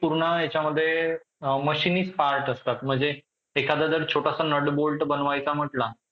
पूर्ण याच्यामध्ये अअ machines part असतात म्हणजे एखादा जर छोटासा नटबोल्ट बनवायचा म्हंटला